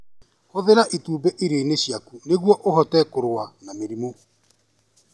Hũthĩra itumbĩ irio-inĩ ciaku nĩguo ũhote kũrũa na mĩrimũ.